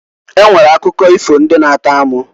E nwere akụkọ ifo ndị na-atọ amụ.